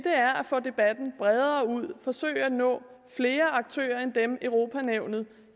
er at få debatten bredere ud og forsøge at nå flere aktører end dem europa nævnet